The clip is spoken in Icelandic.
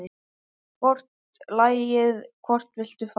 Hvort lagið, hvort viltu fá?